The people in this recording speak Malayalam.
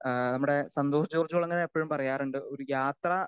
സ്പീക്കർ 2 അഹ് നമ്മടെ സന്തോഷ് ജോർജ് കുളങ്ങര എപ്പോഴും പറയാറുണ്ട് ഒരു യാത്ര